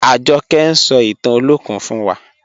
Ajọkẹ̀ ń sọ̀ ìtàn Olokun fún wà.